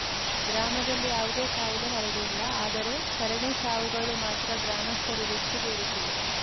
ಗ್ರಾಮದಲ್ಲಿ ಯಾವುದೇ ಕಾಯಿಲೆ ಹರಡಿಲ್ಲ ಆದರೆ ಸರಣಿ ಸಾವುಗಳು ಮಾತ್ರ ಗ್ರಾಮಸ್ಥರು ಬೆಚ್ಚಿಬೀಳಿಸಿವೆ